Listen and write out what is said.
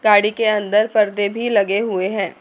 गाड़ी के अन्दर पर्दे भी लगे हुए है।